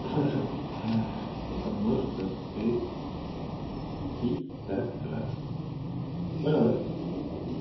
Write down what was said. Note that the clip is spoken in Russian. ха-ха потому что ты пидорас понял да